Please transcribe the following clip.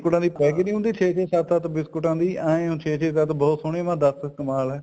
ਬਿਸਕੁਟਾਂ ਦੀ packing ਨੀ ਹੁੰਦੀ ਛੇ ਛੇ ਸੱਤ ਬਿਸਕੁਟਾਂ ਦੀ ਏਵੇਂ ਬਹੁਤ ਸੋਹਣੀ ਦੱਸ ਕਮਾਲ ਹੈ ਜੀ